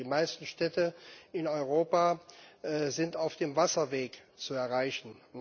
Die meisten Städte in Europa sind auf dem Wasserweg zu erreichen.